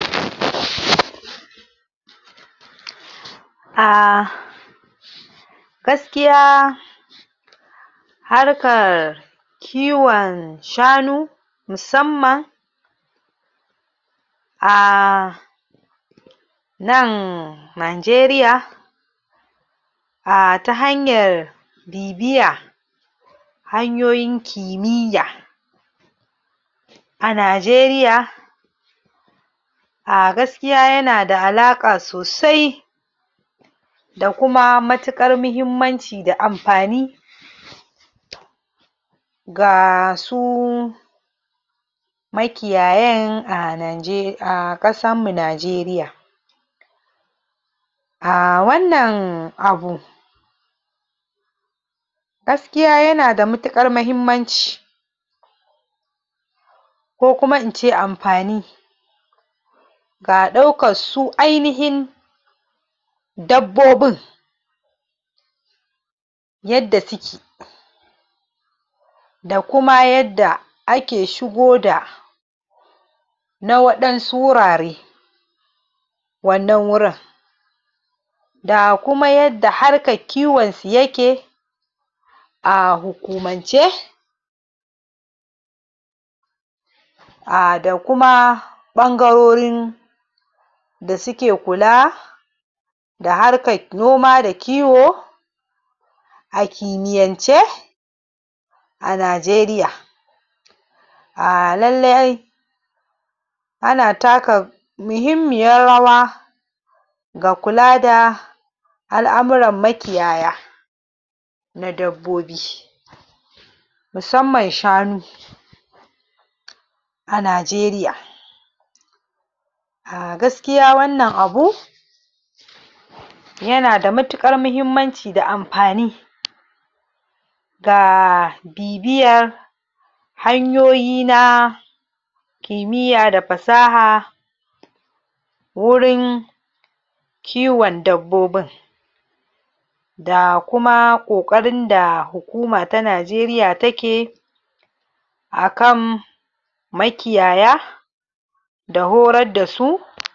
ah gaskiya harkar kiwon shanu musamman ah nan Najeriya ah ta hanyar bibiya hanyoyin kimiyya a Najeriya ah gaskiya yana da halaƙa sosai da kuma matuƙar muhimmanci da ampani ga su makiyayan a Naje a kasan mu Najeriya. ah Wannan abu gaskiya yana da matuƙar mahimmanci ko kuma ince ampani ga ɗaukar su ainihin dabbobin yadda suke da kuma yadda ake shigo da na waɗansu wurare wannan wurin wannan wurin da kuma yadda harkan kiwon su yake a hukumance ah da kuma ɓangarorin da suke kula da harkar noma da kiwo a kimiyyance a Najeriya. ah Lallai ana taka muhimmiyar rawa ga kula da al'amuran makiyaya na dabbobi musamman shanu a Najeriya. ah Gaskiya wannan abu yana da matuƙar mahimmanci da ampani ga bibiyar hanyoyi na kimiyya da pasaha wurin kiwan dabbobin. Da kuma kokarin da hukuma ta Najeriya ta ke a kan a kan makiyaya da horar da su.